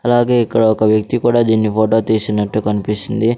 అలాగే ఇక్కడ ఒక వ్యక్తి కూడా దీన్ని ఫోటో తీసినట్టు కనిపిస్తుంది.